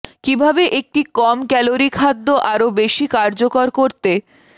কিভাবে একটি কম ক্যালোরি খাদ্য আরো বেশি কার্যকর করতে